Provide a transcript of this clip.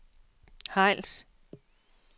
Hejls